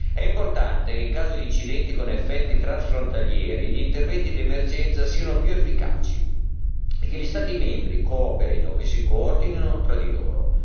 È importante che in caso di incidenti con effetti transfrontalieri, gli interventi di emergenza siano più efficaci e che gli Stati membri cooperino e si coordinino tra di loro.